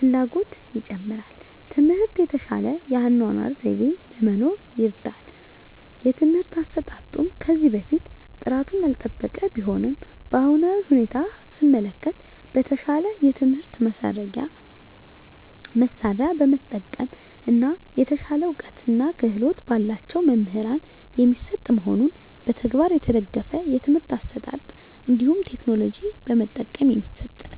ፍላጎትን ይጨምራል። ትምህርት የተሻለ የአኗኗር ዘይቤ ለመኖር ይርዳል። የትምህርት አሰጣጡም ከዚህ በፊት ጥራቱን ያልጠበቀ ቢሆንም በአሁናዊ ሁኔታ ሰመለከት በተሻለ የትምህርት መሳርያ በመጠቀም እና የተሻለ እውቀትና ክህሎት በላቸው መምህራን የሚሰጥ መሆኑንና በተግባር የተደገፍ የትምህርት አሰጣጥ እንዲሁም ቴክኖሎጂ በመጠቀም የሚሰጥ ነው።